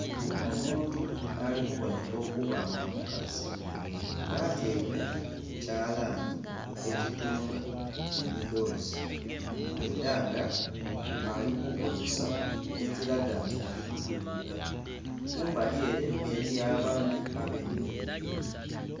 Omuntu ali kubonheka okuba nga mukazi nga atyaime ku kyalani ekitunga emidhoozi, era nga ali ku kozesa ekiraga nti ali kutunga. Kumbali ere eriyo abandhi abemereire.